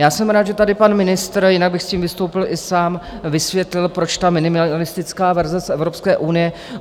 Já jsem rád, že tady pan ministr, jinak bych s tím vystoupil i sám, vysvětlil, proč ta minimalistická verze z Evropské unie.